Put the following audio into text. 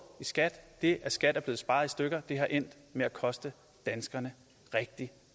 i skat det at skat er blevet sparet i stykker har endt med at koste danskerne rigtig